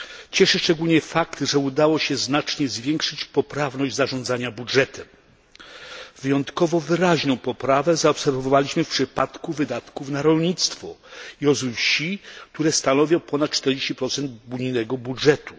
Cieszy szczególnie fakt, że udało się znacznie zwiększyć poprawność zarządzania budżetem. Wyjątkowo wyraźną poprawę zaobserwowaliśmy w przypadku wydatków na rolnictwo i rozwój wsi, które stanowią ponad 40 unijnego budżetu.